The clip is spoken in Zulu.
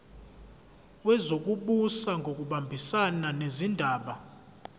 wezokubusa ngokubambisana nezindaba